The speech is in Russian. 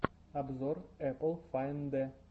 обзор эпл файндэ